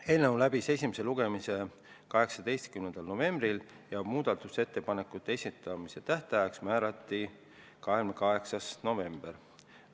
Eelnõu läbis esimese lugemise 18. novembril ja muudatusettepanekute esitamise tähtajaks määrati 28. november.